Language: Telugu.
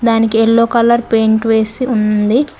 దానికి ఎల్లో కలర్ పెయింట్ వేసి ఉంది.